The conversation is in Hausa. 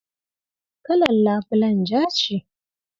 Kalar labulayen ja ce.